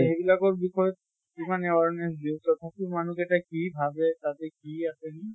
এইবিলাকৰ বিষয়ে যিমান awareness দিওঁ, তথাপিও মানুহ কেটা কি ভাবে তাতে কি আছে বুলি